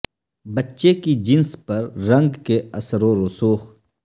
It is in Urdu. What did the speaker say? بچے کی جنس پر رنگ کے اثر و رسوخ